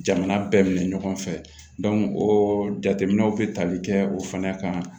Jamana bɛɛ minɛ ɲɔgɔn fɛ o jateminɛw bɛ tali kɛ o fana kan